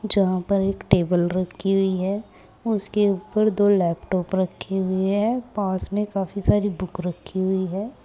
यहां पर एक टेबल रखी हुई है उसके ऊपर दो लैपटॉप रखें हुए हैं पास में काफी सारी बुक रखी हुई है।